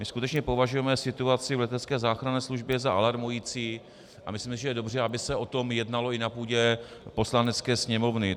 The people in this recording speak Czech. My skutečně považujeme situaci v letecké záchranné službě za alarmující a myslíme, že je dobře, aby se o tom jednalo i na půdě Poslanecké sněmovny.